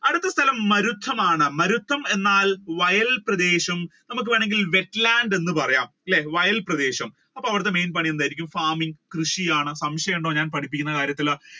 അടുത്ത സ്ഥലം മരുത്തമാണ് മരുത്തം എന്നാൽ വയൽ പ്രദേശം നമ്മുക്ക് വേണെങ്കിൽ എന്ന് wet land പറയാം അല്ലെ വയൽ പ്രദേശം അപ്പൊ അവരുടെ main പരിപാടി എന്തായിരിക്കും farming കൃഷിയാണ്. സംശയമുണ്ടോ ഞാൻ പഠിപ്പിക്കുന്ന കാര്യത്തിൽ